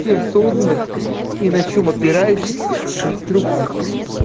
тем созданных и на чём опирающихся конструкций